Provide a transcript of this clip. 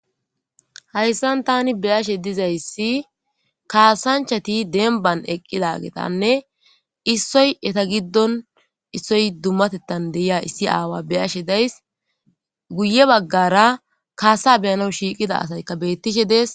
Hayssan tanni be'she dizzayssi kasanchati demban eqqidaggetanne issoy eeta giddon issoy dumattetan deiza issi awa beashe dayssi guye baggara kassa beanawu shiqqida asaykka bettish dessi.